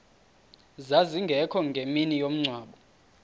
zazingekho ngemini yomngcwabo